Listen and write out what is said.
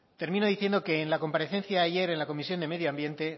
termino diciendo que en la comparecencia ayer en el comisión de medio ambiente